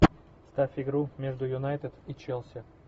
ставь игру между юнайтед и челси